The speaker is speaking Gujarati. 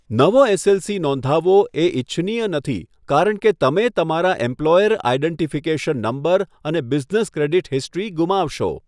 નવો એલએલસી નોંધાવવો એ ઇચ્છનીય નથી કારણ કે તમે તમારા એમ્પ્લોયર આઇડેન્ટિફિકેશન નંબર અને બિઝનેસ ક્રેડિટ હિસ્ટ્રી ગુમાવશો.